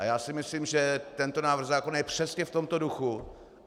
A já si myslím, že tento návrh zákona je přesně v tomto duchu.